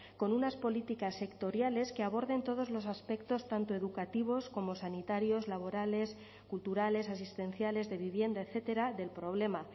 con unas políticas sectoriales que aborden todos los aspectos tanto educativos como sanitarios laborales culturales asistenciales de vivienda etcétera del problema